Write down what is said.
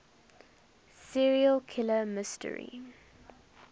serial killer mystery